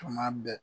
Tuma bɛɛ